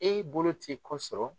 E bolo ti ko sɔrɔ.